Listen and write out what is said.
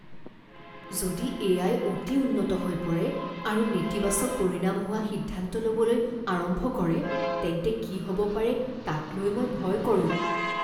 যদি এ.আই. অতি উন্নত হৈ পৰে আৰু নেতিবাচক পৰিণাম হোৱা সিদ্ধান্ত ল'বলৈ আৰম্ভ কৰে তেন্তে কি হ'ব পাৰে তাক লৈ মই ভয় কৰোঁ।